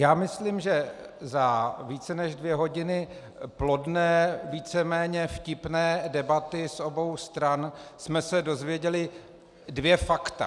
Já myslím, že za více než dvě hodiny plodné, víceméně vtipné debaty z obou stran jsme se dozvěděli dvě fakta.